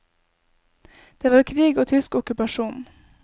Det var krig og tysk okkupasjon.